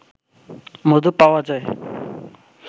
মধু পাওয়া যায়